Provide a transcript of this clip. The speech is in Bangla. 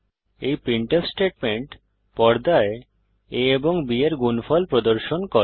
এই প্রিন্টফ স্টেটমেন্ট পর্দায় a ও b এর গুনফল প্রদর্শন করে